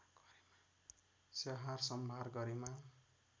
स्याहार सम्भार गरेमा